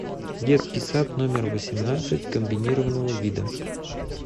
детский сад номер восемнадцать комбинированного вида